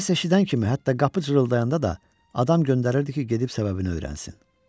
Səs eşidən kimi hətta qapı cırıldayanda da adam göndərirdi ki, gedib səbəbini öyrənsin.